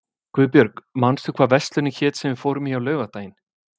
Guðbjörg, manstu hvað verslunin hét sem við fórum í á laugardaginn?